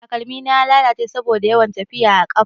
Kalmina ya lalace saboda yawan tafiya a ƙafa.